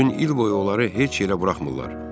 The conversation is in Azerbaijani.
Bütün il boyu onları heç yerə buraxmırlar.